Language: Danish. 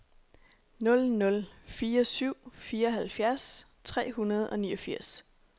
nul nul fire syv fireoghalvfjerds tre hundrede og niogfirs